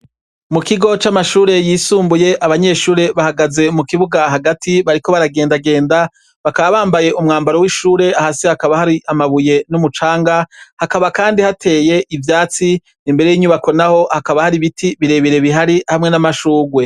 Mu kigo c'amashure yisumbuye, abanyeshure bahagaze mu kibuga hagati, bariko baragendagenda. Bakaba bambaye umwambaro w'ishure. Hasi hakaba hari amabuye n'umucanga , hakaba kandi hateye ivyatsi. Imbere y'inyubako n'aho hakaba hari ibiti birebire bihari hamwe n'amashurwe.